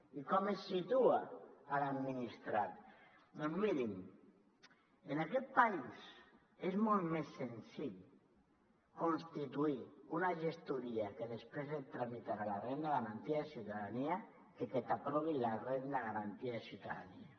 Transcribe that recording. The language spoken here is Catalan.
i com es situa a l’administrat doncs mirin en aquest país és molt més senzill constituir una gestoria que després et tramitarà la renda garantida de ciutadania que no pas que t’aprovin la renda garantida de ciutadania